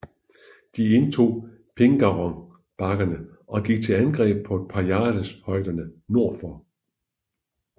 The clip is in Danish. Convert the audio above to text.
De indtog Pingarrón bakkerne og gik til angreb på Pajares højderne nordfor